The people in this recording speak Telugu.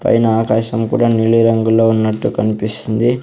పైన ఆకాశం కూడా నీలి రంగులో ఉన్నట్టు కనిపిస్తుంది.